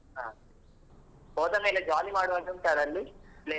ಹಾ ಹೋದ ಮೇಲೆ jolly ಮಾಡುವ ಹಾಗೆ ಉಂಟಾ ಅಲ್ಲಿ place ?